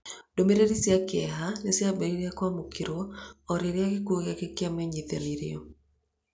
Ndũmĩrĩri cia kĩeha nĩ ciambĩrĩirie kwamũkĩrwo o rĩrĩa gĩkuũ gĩake kĩramenyithanirio.